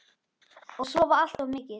Og sofa allt of mikið.